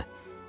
çığırırdı.